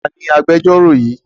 Ta ni agbẹjọ́rò yìí?